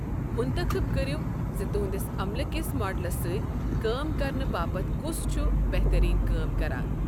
منتخب کٔرِو زِ تُہنٛدِس عملہٕ کِس ماڈلَس سۭتۍ کٲم کرنہٕ باپتھ کُس چھُ بہتریٖن کٲم کران۔